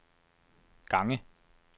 gange